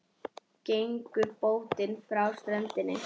Gengur bótin inn frá strönd.